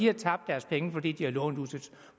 har tabt deres penge fordi de har lånt ud til